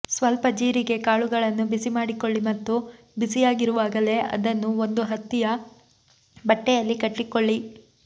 ಸ್ವಲ್ಪ ಜೀರಿಗೆ ಕಾಳುಗಳನ್ನು ಬಿಸಿ ಮಾಡಿಕೊಳ್ಳಿ ಮತ್ತು ಬಿಸಿಯಾಗಿರುವಾಗಲೇ ಅದನ್ನು ಒಂದು ಹತ್ತಿಯ ಬಟ್ಟೆಯಲ್ಲಿ ಕಟ್ಟಿಕೊಳ್ಳಿ